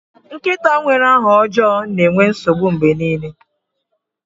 Nkịta nwere aha ọjọọ na-enwe nsogbu mgbe niile.